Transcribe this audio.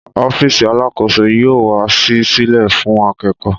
Ọfísì Àlàkósó yio wà sí sílè fún àkẹkọ.